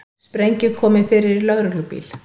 Sprengju komið fyrir í lögreglubíl